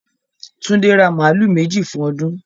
Túndé ra màálù méjì fún ọdún.